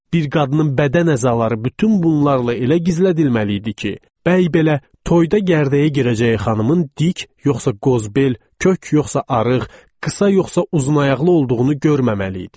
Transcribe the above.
Bir qadının bədən əzaları bütün bunlarla elə gizlədilməli idi ki, bəy belə toyda gərdəyə girəcək xanımın dik, yoxsa qozbel, kök, yoxsa arıq, qısa, yoxsa uzuna ayaqlı olduğunu görməməli idi.